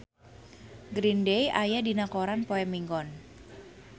Green Day aya dina koran poe Minggon